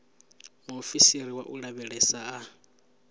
muofisiri wa u lavhelesa a